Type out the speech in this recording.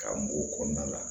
Ka mun o kɔnɔna la